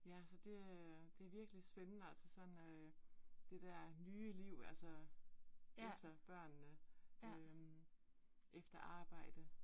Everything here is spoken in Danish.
Ja, så det øh det virkelig spændende altså sådan øh det der nye liv altså efter børnene øh efter arbejde